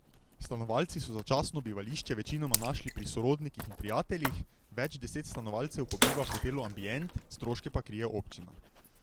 Stanovalci so začasno bivališče večinoma našli pri sorodnikih in prijateljih, več deset stanovalcev pa biva v hotelu Ambient, stroške pa krije občina.